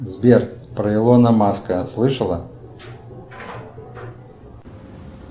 сбер про илона маска слышала